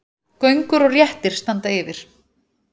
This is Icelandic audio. Göngur og réttir standa yfir.